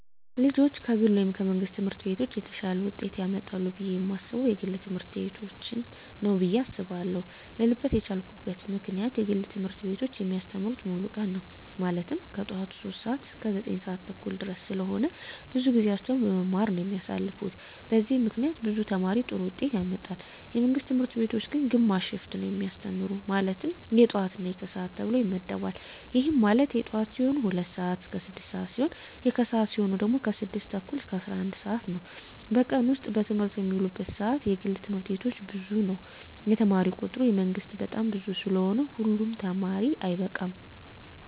ልጆች ከግል ወይም ከመንግሥት ትምህርት ቤቶች የተሻለ ውጤት ያመጣሉ ብየ የማስበው የግል ትምህርት ቤቶችን ነው ብየ አስባለው ልልበት የቻልኩት ምክንያት የግል ትምህርት ቤቶች የሚያስተምሩት ሙሉ ቀን ነው ማለትም ከጠዋቱ 3:00 ሰዓት እስከ 9:30 ድረስ ስለሆነ ብዙውን ጊዜያቸውን በመማማር ነው የሚያሳልፉት በዚህም ምክንያት ብዙ ተማሪ ጥሩ ውጤት ያመጣል። የመንግስት ትምህርት ቤቶች ግን ግማሽ ሽፍት ነው የሚያስተምሩ ማለትም የጠዋት እና የከሰዓት ተብሎ ይመደባል ይህም ማለት የጠዋት ሲሆኑ 2:00 ስዓት እስከ 6:00 ሲሆን የከሰዓት ሲሆኑ ደግሞ 6:30 እስከ 11:00 ነው በቀን ውስጥ በትምህርት የሚውሉበት ሰዓት የግል ትምህርት ቤቶች ብዙ ነው የተማሪ ቁጥሩ የመንግስት በጣም ብዙ ስለሆነ ሁሉ ተማሪ አይበቃም።